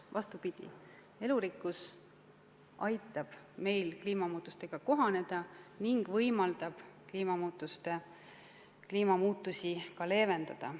Vastupidi, elurikkus aitab meil kliimamuutustega kohaneda ning võimaldab neid ka leevendada.